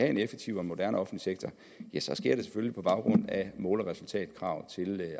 en effektiv og moderne offentlig sektor ja så sker det selvfølgelig på baggrund af mål og resultatkrav til